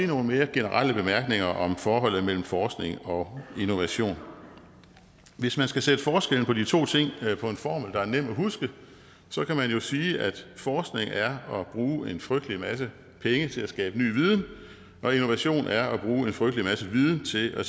nogle mere generelle bemærkninger om forholdet mellem forskning og innovation hvis man skal sætte forskellen på de to ting på en formel der er nem at huske kan man jo sige at forskning er at bruge en frygtelig masse penge til at skabe ny viden og innovation er at bruge en frygtelig masse viden til at